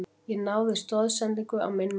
Ég náði stoðsendingu á minn mann.